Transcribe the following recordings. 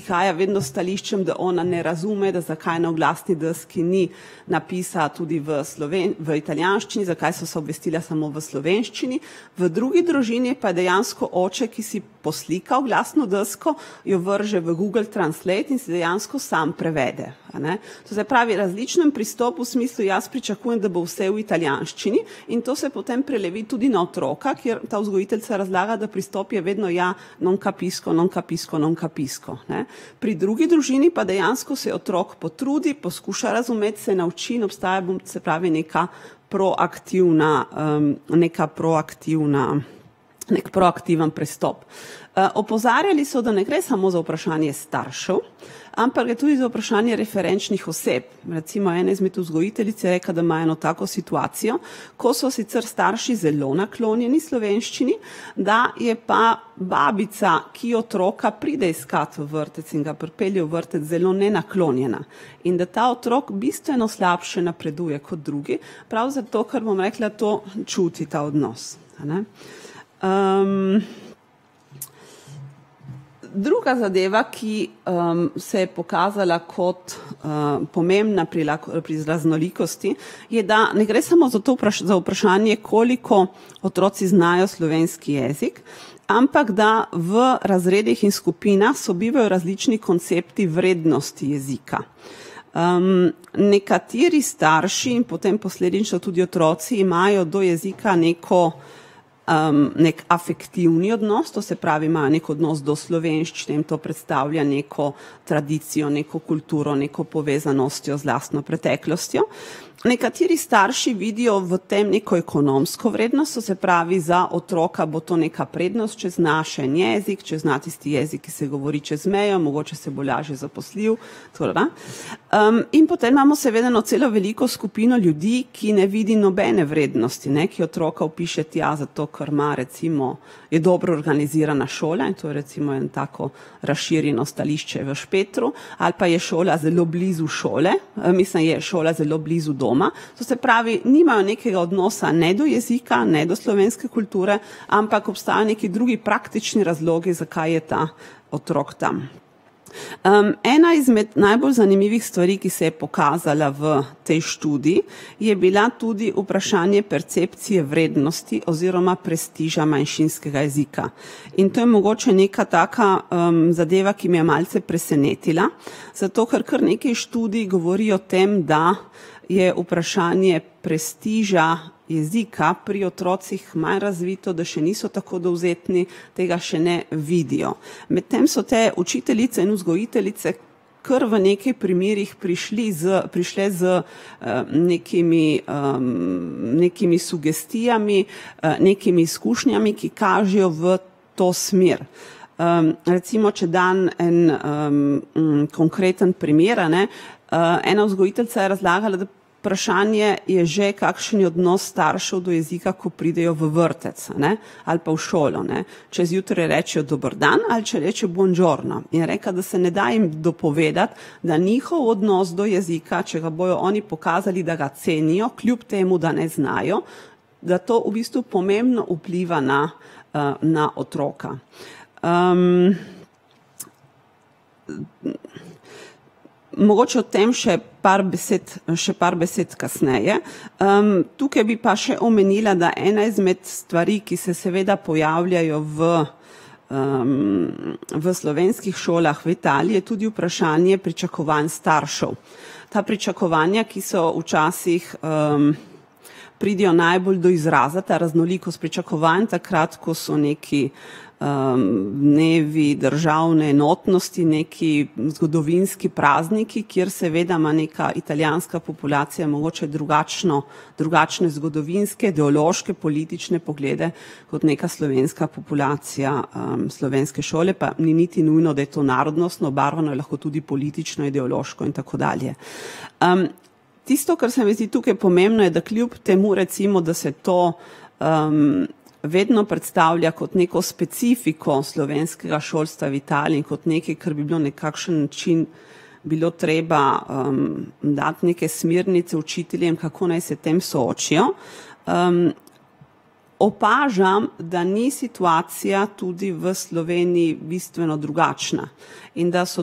prihaja vedno s stališčem, da ona ne razume, da zakaj na oglasni deski ni napisa tudi v v italijanščini, zakaj so vsa obvestila samo v slovenščini. V drugi družini pa je dejansko oče, ki si poslika oglasno desko, jo vrže v Google translate in si dejansko sam prevede, a ne. To se pravi različen pristop v smislu jaz pričakujem, da bo vse v italijanščini, in to se potem prelevi tudi na otroka, kjer ta vzgojiteljica razlaga, da pristop je vedno, ja, non capisco, non capisco, non capisco, ne. Pri drugi družini pa dejansko se otrok potrudi, poskuša razumeti, se nauči in obstaja se pravi neka proaktivna, neka proaktivna, neki proaktiven pristop. opozarjali so, da ne gre samo za vprašanje staršev, ampak gre tudi za vprašanja referenčnih oseb. Recimo ena izmed vzgojiteljic je rekla, da ima eno tako situacijo, ko so sicer starši zelo naklonjeni slovenščini, da je pa babica, ki otroka pride iskat v vrtec in ga pripelje v vrtec, zelo nenaklonjena. In da ta otrok bistveno slabše napreduje kot drugi prav zato, ker bom rekla, to čuti ta odnos, a ne. druga zadeva, ki, se je pokazala kot, pomembna pri pri raznolikosti, je, da ne gre samo za to za vprašanje, koliko otroci znajo slovenski jezik, ampak da v razredih in skupinah sobivajo različni koncepti vrednosti jezika. nekateri starši in potem posledično tudi otroci imajo do jezika neko, neki afektivni odnos, to se pravi, imajo neki odnos do slovenščine in to predstavlja neko tradicijo, neko kulturo, neko povezanostjo z lastno preteklostjo. Nekateri starši vidijo v tem neko ekonomsko vrednost, to se pravi, za otroka bo to neka prednost, če zna še en jezik, če zna tisti jezik, ki se govori čez mejo, mogoče se bo lažje zaposlil, . in potem imamo seveda eno celo veliko skupino ljudi, ki ne vidi nobene vrednosti, ne, ki otroka vpiše tja, zato ker ima recimo je dobro organizirana šola, in to je recimo eno tako razširjeno stališče v Špetru ali pa je šola zelo blizu šole, mislim je šola zelo blizu doma. To se pravi, nimajo nekega odnosa ne do jezika, ne do slovenske kulture, ampak obstajajo neki drugi praktični razlogi, zakaj je ta otrok tam. ena izmed najbolj zanimivih stvari, ki se je pokazala v tej študiji, je bila tudi vprašanje percepcije vrednosti oziroma prestiža manjšinskega jezika. In to je mogoče neka taka, zadeva, ki me je malce presenetila, zato ker kar nekaj študij govori o tem, da je vprašanje prestiža jezika pri otrocih manj razvito, da še niso tako dovzetni, tega še ne vidijo. Medtem so te učiteljice in vzgojiteljice kar v nekaj primerih prišli z prišli z, nekimi, nekimi sugestijami, nekimi izkušnjami, ki kažejo v to smer. recimo, če dam en, konkreten primer, a ne. ena vzgojiteljica je razlagala, vprašanje je že, kakšen je odnos staršev do jezika, ko pridejo v vrtec, a ne. Ali pa v šolo, ne. Če zjutraj rečejo "dober dan" ali če rečejo "buongiorno" in je rekla, da se ne da jim dopovedati, da njihov odnos do jezika, če ga bojo oni pokazali, da ga cenijo, kljub temu, da ne znajo, ga to v bistvu pomembno vpliva na, na otroka. mogoče o tem še par besed še par besed kasneje. tukaj pa bi še omenila, da ena izmed stvari, ki se seveda pojavljajo v, v slovenskih šolah v Italiji je tudi vprašanje, pričakovanj staršev. Ta pričakovanja, ki so včasih, pridejo najbolj do izraza, ta raznolikost pričakovanj, takrat, ko so neki, dnevi državne enotnosti nekaj zgodovinski prazniki, kjer seveda ima neka italijanska populacija mogoče drugačno, drugačne zgodovinske, ideološke, politične poglede kot neka slovenska populacija, slovenske šole pa ni niti nujno, da je to narodnostno obarvano, je lahko tudi politično, ideološko in tako dalje, Tisto, kar se mi zdi tukaj pomembno je, da kljub temu recimo, da se to, vedno predstavlja kot neko specifiko slovenskega šolstva v Italiji kot nekaj, kar bi bilo nekakšen način bilo treba, dati neke smernice učiteljem, kako naj se s tem soočijo. opažam, da ni situacija tudi v Sloveniji bistveno drugačna in da so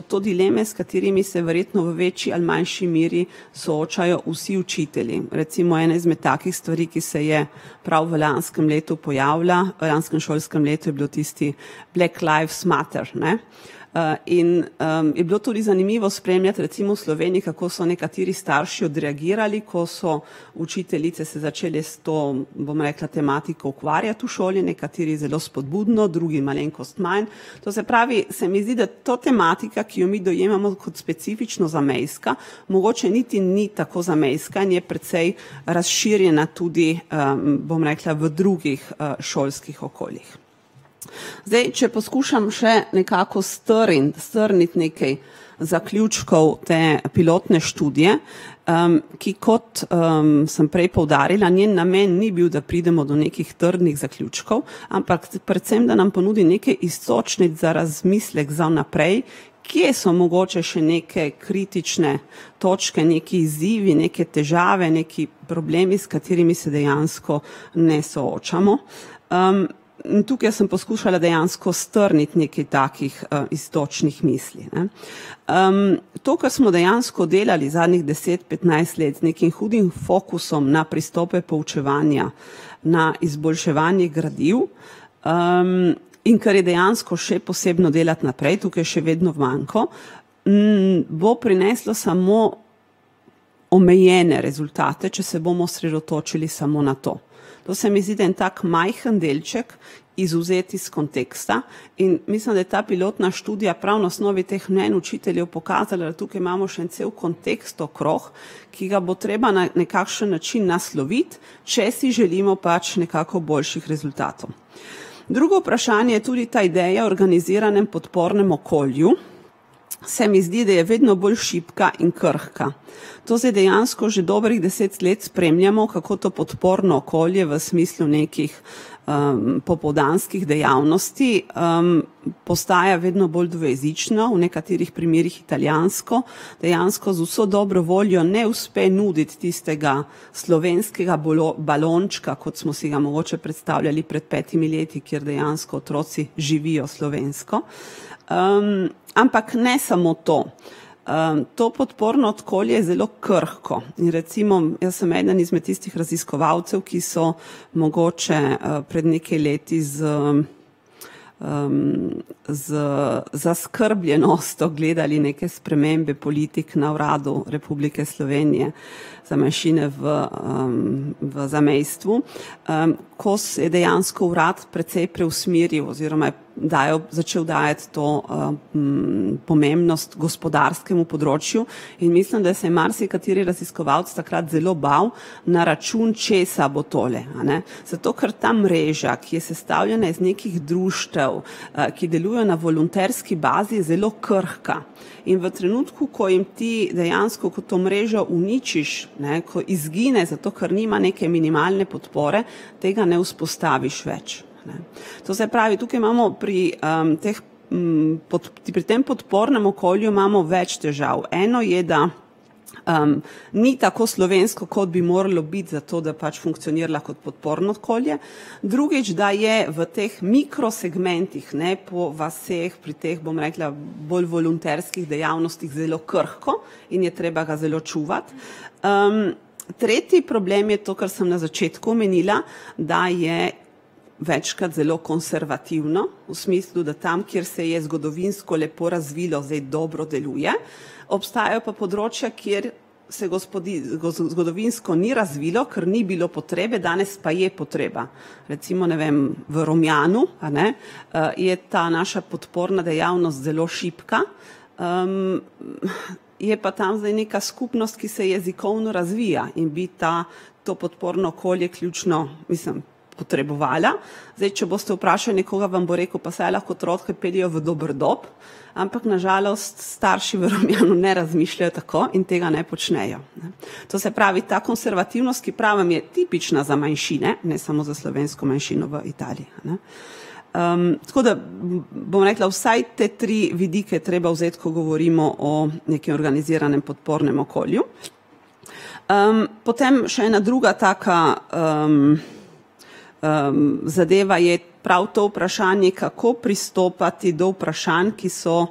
to dileme, s katerimi se verjetno v večji ali manjši meri soočajo vsi učitelji, recimo ena izmed takih stvari, ki se je prav v lanskem letu pojavila, v lanskem šolskem letu je bil tisti Black Lives Matter, ne. in, je bilo tudi zanimivo spremljati recimo v Sloveniji, kako so nekateri starši odreagirali, ko so učiteljice se začele s to, bom rekla, tematiko ukvarjati v šoli, nekateri zelo spodbudno, drugi malenkost manj. To se pravi, se mi zdi, da to tematika, ki jo mi dojemamo kot specifično zamejska, mogoče niti ni tako zamejska in je precej razširjena tudi, bom rekla, v drugih, šolskih okoljih. Zdaj če poskušam še nekako strniti, strniti nekaj, zaključkov te pilotne študije. ki kot, sem prej poudarila, njen namen ni bil, da pridemo do nekih trdnih zaključkov, ampak predvsem, da nam ponudi nekaj iztočnic za razmislek za naprej, kje so mogoče še neke kritične točke, neki izzivi, neke težave, neki problemi, s katerimi se dejansko ne soočamo. in tukaj sem poskušala dejansko strniti nekaj takih iztočnih misli, ne. to, kar smo dejansko delali zadnjih deset, petnajst let, z nekim hudim fokusom na pristope poučevanja, na izboljševanje gradiv, in kar je dejansko še posebno delati naprej, tukaj še vedno manko, bo prineslo samo omejene rezultate, če se bomo osredotočili samo na to. To se mi zdi, da en tak majhen delček, izvzet iz konteksta, in mislim, da je ta pilotna študija prav na osnovi teh mnenj učiteljev pokazala, tukaj imamo še en cel kontekst okrog, ki ga bo treba na nekakšen način nasloviti, če si želimo pač nekako boljših rezultatov. Drugo vprašanje je tudi ta ideja o organiziranem podpornem okolju, se mi zdi, da je vedno bolj šibka in krhka. To se dejansko že dobrih deset let spremljamo, kako to podporno okolje v smislu nekih, popoldanskih dejavnosti, postaja vedno bolj dvojezično, v nekaterih primerih italijansko. Dejansko z vso dobro voljo ne uspe nuditi tistega slovenskega balončka, kot smo si ga mogoče predstavljali pred petimi leti, kjer dejansko otroci živijo slovensko. ampak ne samo to. to podporno okolje je zelo krhko in recimo jaz sem eden izmed tistih raziskovalcev, ki so mogoče, pred nekaj leti z , z zaskrbljenostjo gledali neke spremembe politik na Uradu Republike Slovenije za manjšine v, v zamejstvu, ko se je dejansko Urad precej preusmeril oziroma je dajal začel dajati to, pomembnost gospodarskemu področju, in mislim, da se je marsikateri raziskovalec zelo bal na račun česa bo tole, a ne, zato ker ta mreža, ki je sestavljena iz nekih društev, ki deluje na volonterski bazi, zelo krhka. In v trenutku, ko jim ti, dejansko ko to mrežo uničiš, ne, ko izgine, zato ker nima neke minimalne podpore, tega ne vzpostaviš več. To se pravi, tukaj imamo pri, teh, pri tem podpornem okolju imamo več težav, eno je, da, ni tako slovensko, kot bi moralo biti, zato da pač funkcionira kot podporno okolje. Drugič, da je v teh mikrosegmentih, ne, po vaseh, pri teh, bom rekla, bolj volonterskih dejavnostih zelo krhko in je treba ga zelo čuvati. tretji problem je to, kar sem na začetku omenila, da je večkrat zelo konservativno v smislu, da tam, kjer se je zgodovinsko lepo razvilo, zdaj lepo deluje obstajajo pa področja, kjer se zgodovinsko ni razvilo, ker ni bilo potrebe, danes pa je potreba. Recimo, ne vem v Romjanu, a ne, je ta naša podporna dejavnost zelo šibka, je pa tam zdaj neka skupnost, ki se jezikovno razvija in bi ta to podporno okolje ključno, mislim, potrebovala. Zdaj, če boste vprašali nekoga, vam bo rekel, pa saj lahko otroke peljejo v Doberdob, ampak na žalost starši v Romjanu ne razmišljajo tako in tega ne počnejo, ne. To se pravi ta konservativnost, ki pravim, je tipična za manjšine, ne samo za slovensko manjšino v Italiji, a ne. tako da, bom rekla, vsaj te tri vidike treba vzeti, ko govorimo o nekaj organiziranem podpornem okolju. potem še ena druga taka, zadeva je prav to vprašanje, kako pristopati do vprašanj, ki so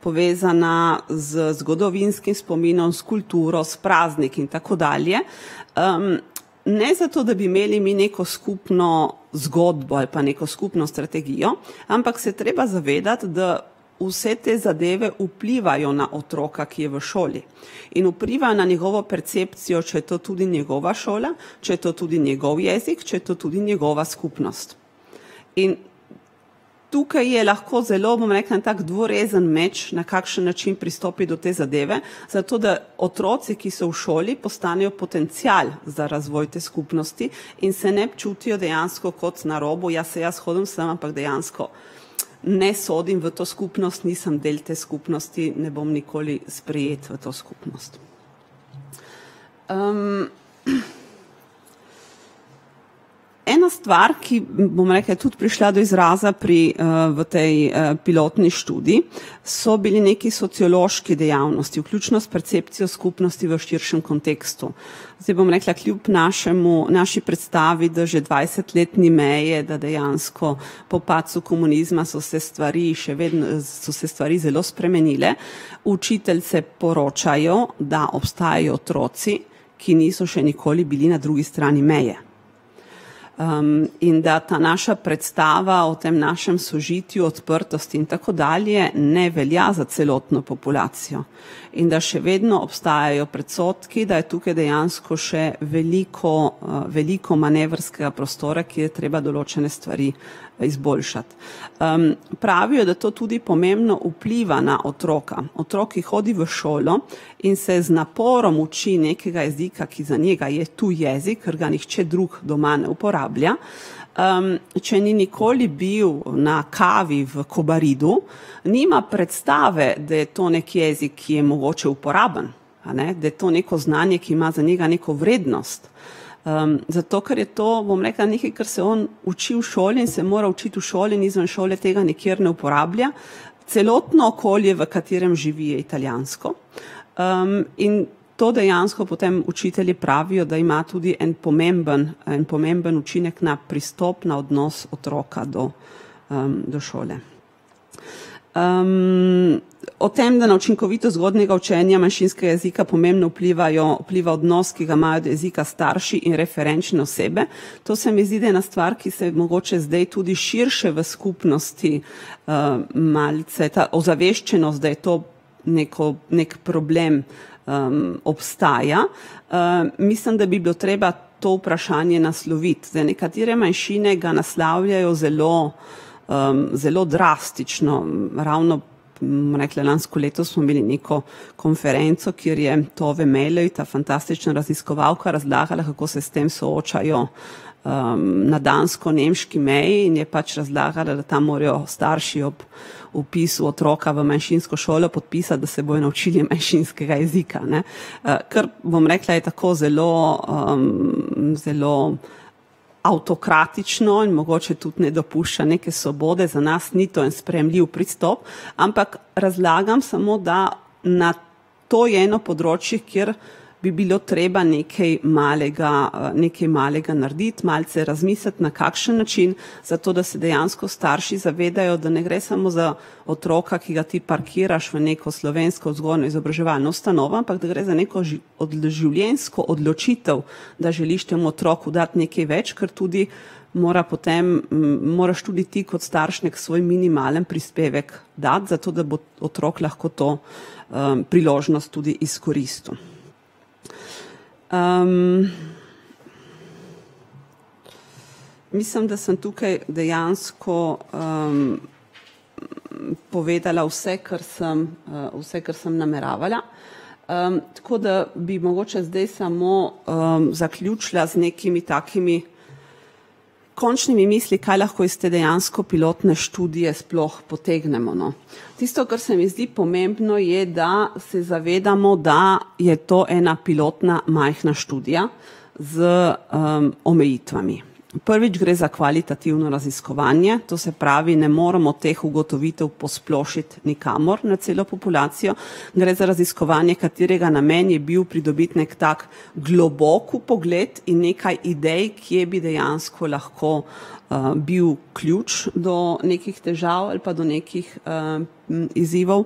povezana z zgodovinskim spominom, s kulturo, s prazniki in tako dalje, ne zato, da bi imeli mi neko skupno zgodbo ali pa neko skupno strategijo, ampak se je treba zavedati, da vse te zadeve vplivajo na otroka, ki je v šoli. In vpliva na njegovo percepcijo, če je to tudi njegova šola, če je to tudi njegov jezik, če je to tudi njegova skupnost. In tukaj je lahko zelo, bom rekla, en tak dvorezen meč, na kakšen način pristopiti do te zadeve, zato da otroci, ki so v šoli, postanejo potencial za razvoj te skupnosti in se ne čutijo dejansko kot na robu, ja, saj jaz hodim sem, ampak dejansko ne sodim v to skupnost, nisem del te skupnosti, ne bom nikoli sprejet v to skupnost. Ena stvar, ki, bom rekla, je tudi prišla do izraza, pri, v tej, pilotni študiji, so bili neki sociološki dejavnosti, vključno s percepcijo skupnosti v širšem kontekstu. Zdaj bom rekla kljub našemu, naši predstavi, da že dvajset let ni meje, da dejansko po padcu komunizma so se stvari še so se stvari zelo spremenile. Učiteljice poročajo, da obstajajo otroci, ki niso še nikoli bili na drugi strani meje. in da ta naša predstava o tem našem sožitju, odprtosti in tako dalje ne velja za celotno populacijo in da še vedno obstajajo predsodki, da je tukaj dejansko še veliko, veliko manevrskega prostora, ki je treba določene stvari izboljšati. Pravijo, da to tudi pomembno vpliva na otroka. Otrok, ki hodi v šolo, in se z naporom uči nekega jezika, ki za njega je tuji jezik, ker ga nihče drug doma ne uporablja, če ni nikoli bil na kavi v Kobaridu, nima predstave, da je to neki jezik, ki je mogoče uporaben, a ne, da je to neko znanje, ki ima za njega neko vrednost. zato ker je to, bom rekla, nekaj, kar se on uči v šoli in se mora učiti v šoli in izven šole tega nikjer ne uporablja. Celotno okolje, v katerem živi, je italijansko. in to dejansko potem učitelji pravijo, da ima tudi en pomemben en pomemben učinek na pristop, na odnos otroka do, do šole. o tem, da na učinkovitost zgodnjega učenja manjšinskega jezika pomembno vplivajo vpliva odnos, ki ga imajo do jezika starši in referenčne osebe. To se mi zdi ena stvar, ki se zdaj mogoče tudi širše v skupnosti, malce ta ozaveščenost, da je to neko neki problem. obstaja, mislim, da bi bilo treba to vprašanje nasloviti, zdaj nekatere manjšine ga naslavljajo zelo, zelo drastično ravno bom rekla, lansko leto smo imeli neko konferenco, kjer je ta fantastična raziskovalka razlagala, kako se s tem soočajo, na dansko-nemški meji, in je pač razlagala, da tam morajo starši ob ob vpisu otroka v manjšinsko šolo podpisati, da se bodo naučili manjšinskega jezika, ne. kar, bom rekla, je tako zelo, zelo avtokratično in mogoče tudi ne dopušča neke svobode za nas to en sprejemljiv pristop, ampak razlagam samo, da na to je eno področje, kjer bi bilo treba nekaj malega, nekaj malega narediti malce razmisliti, na kakšen način, zato da se dejansko starši zavedajo, da ne gre samo za otroka, ki ga ti parkiraš v neko slovensko vzgojno-izobraževalno ustanovo, ampak da gre za eno odloživljenjsko odločitev, da želiš temu otroku dati nekaj več, ker tudi mora potem, moraš tudi ti kot starš neki svoj minimalen prispevek dati, zato da bo otrok lahko to, priložnost tudi izkoristil. mislim, da sem tukaj dejansko, povedala vse, kar, vse, kar sem nameravala. tako da bi mogoče zdaj samo zaključila z nekimi takimi končnimi mislimi, kaj lahko iz te dejansko pilotne študije sploh potegnemo, no. Tisto, kar se mi zdi pomembno, je, da se zavedamo, da je to ena pilotna majhna študija z, omejitvami. Prvič gre za kvalitativno raziskovanje, to se pravi, ne moremo teh ugotovitev posplošiti nikamor na celo populacijo. Gre za raziskovanje, katerega namen je bil pridobiti neki tak globok vpogled in nekaj idej, kje bi dejansko lahko, bil ključ do nekih težav ali pa do nekih, izzivov.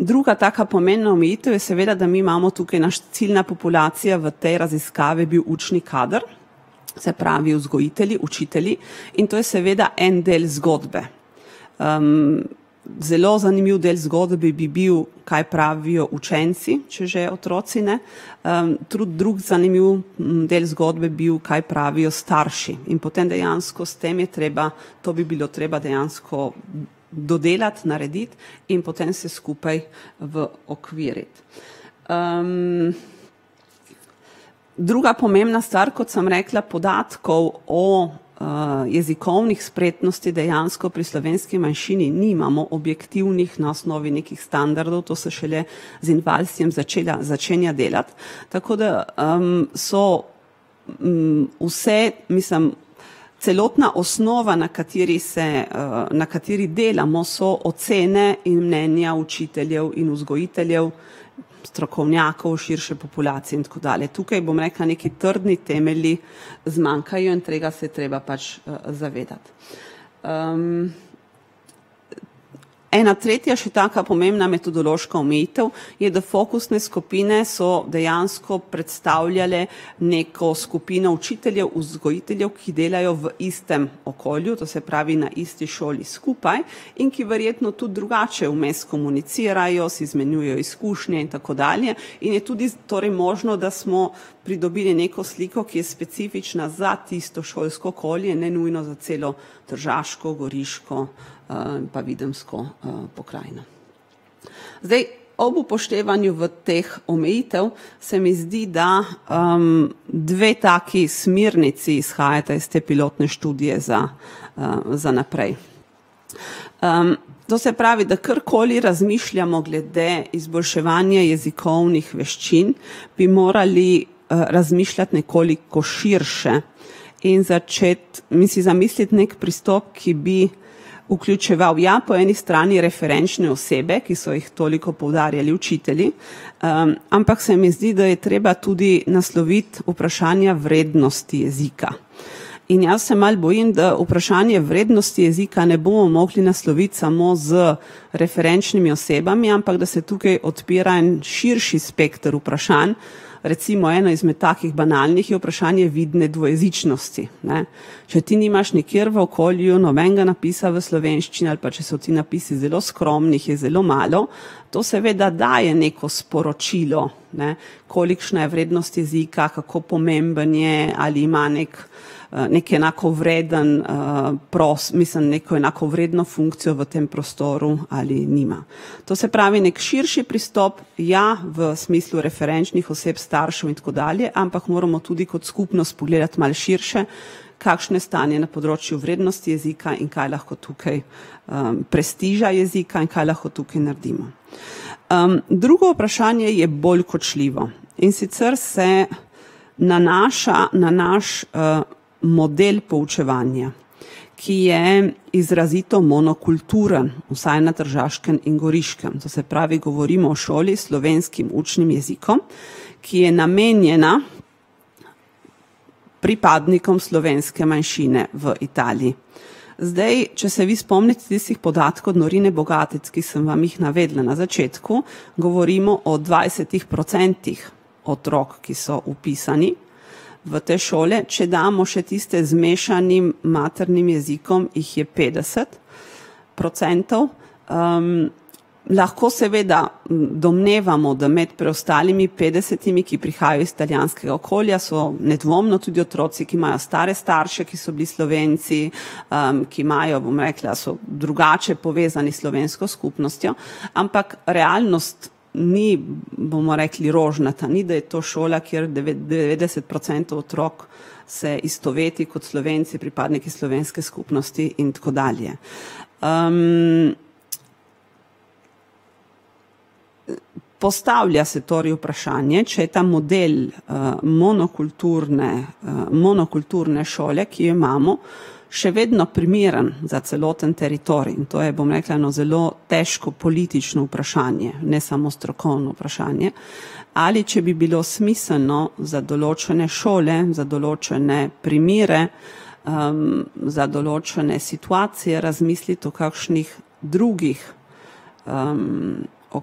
druga taka pomembna omejitev je seveda, da mi imamo tukaj, naš ciljna populacija v tej raziskavi bil učni kader. Se pravi vzgojitelji, učitelji, in to je seveda en del zgodbe. zelo zanimiv del zgodbe bi bil, kaj pravijo učenci, če že otroci ne. trud drug zanimiv del zgodbe bil, kaj pravijo starši in potem dejansko, s tem je treba to bi bilo treba dejansko dodelati, narediti in potem vse skupaj okviriti. druga pomembna stvar, kot sem rekla, podatkov o, jezikovnih spretnostih dejansko pri slovenski manjšini nimamo objektivnih na osnovi nekih standardov. To se šele z Invalsijem začela, začenja delati, tako da, so, vse, mislim, celotna osnova, na kateri se, na kateri delamo, so ocene in mnenja učiteljev in vzgojiteljev, strokovnjakov, širše populacije in tako dalje, tukaj, bom rekla, neki trdni temelji zmanjkajo in tega se je treba pač, zavedati. ena tretja še taka pomembna metodološka omejitev je, da fokusne skupine so dejansko predstavljale neko skupino učiteljev, vzgojiteljev, ki delajo v istem okolju, to se pravi na isti šoli skupaj, in ki verjetno tudi drugače vmes komunicirajo, si izmenjujejo izkušnje in tako dalje in je tudi torej možno, da smo pridobili neko sliko, ki je specifična za tisto šolsko okolje ne nujno za celo tržaško, goriško, pa videmsko, pokrajino. Zdaj, ob upoštevanju v teh omejitev se mi zdi, da, dve taki smernici izhajata iz te pilotne študije za, za naprej. to se pravi, da karkoli razmišljamo glede izboljševanja jezikovnih veščin, bi morali, razmišljati nekoliko širše in začeti in si zamisliti neki pristop, ki bi vključeval, ja, po eni strani referenčne osebe, ki so jih toliko poudarjali učitelji, ampak se mi zdi, da je treba tudi nasloviti vprašanja vrednosti jezika. In jaz se malo bojim, da vprašanje vrednosti jezika ne bomo mogli nasloviti samo z referenčnimi osebami, ampak da se tukaj odpira en širši spekter vprašanj. Recimo eno izmed takih banalnih vprašanj je vidne dvojezičnosti, ne. Če ti nimaš nikjer v okolju nobenega napisa v slovenščini ali pa če so ti napisi zelo skromni, jih je zelo malo, to seveda daje neko sporočilo, ne, kolikšna je vrednost jezika, kako pomembno je, ali ima neki, neki enakovreden, mislim, neko enakovredno funkcijo v tem prostoru ali je nima. To se pravi neki širši pristop, ja, v smislu referenčnih oseb staršev in tako dalje, ampak moramo tudi kot skupnost pogledati malo širše, kakšno je stanje na področju vrednosti jezika in kaj lahko tukaj, prestiža jezika in kaj lahko tukaj naredimo. drugo vprašanje je bolj kočljivo, in sicer se nanaša na naš, model poučevanja, ki je izrazito monokulturen, vsaj na Tržaškem in Goriškem, to se pravi govorimo o šoli s slovenskim učnim jezikom, ki je namenjena pripadnikom slovenske manjšine v Italiji. Zdaj če se vi spomnite tistih podatkov od [ime in priimek] , ki sem vam jih navedla na začetku, govorimo o dvajsetih procentih otrok, ki so vpisani v te šole, če damo še tiste z mešanim maternim jezikom, jih je petdeset procentov, lahko seveda, domnevamo, da med preostalimi petdesetimi, ki prihajajo iz italijanskega okolja, so nedvomno tudi otroci, ki imajo stare starše, ki so bili Slovenci, ki imajo, bom rekla, so drugače povezani s slovensko skupnostjo, ampak realnost ni, bomo rekli, rožnata, ni, da je to šola, kjer devetdeset procentov otrok se istoveti kot Slovenci, pripadniki slovenske skupnosti in tako dalje. . postavlja se torej vprašanje, če je ta model, monokulturne, monokulturne šole, ki jo imamo, še vedno primeren za celoten teritorij in to je, bom rekla, eno zelo težko politično vprašanje, ne samo strokovno vprašanje, ali če bi bilo smiselno za določene šole, za določene primere, za določene situacije razmisliti o kakšnih drugih, o